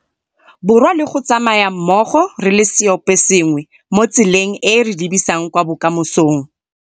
Borwa le go tsamaya mmogo re le seoposengwe mo tseleng e e re lebisang kwa bokamosong.